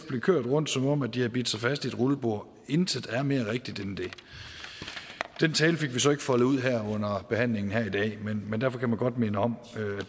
blev kørt rundt som om de havde bidt sig fast i et rullebord intet er mere rigtigt end det den tale fik vi så ikke foldet ud under behandlingen her i dag men derfor kan man godt minde om